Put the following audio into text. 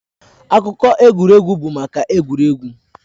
Akụkọ egwuregwu bụ maka egwuregwu.